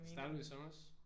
Startede du i sommers?